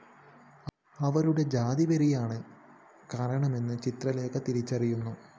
അവരുടെ ജാതിവെറിയാണ് കാരണമെന്ന് ചിത്രലേഖ തിരിച്ചറിയുന്നു